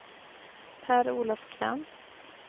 Per-Olof Krantz